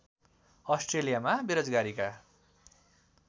अस्ट्रेलियामा बेरोजगारीका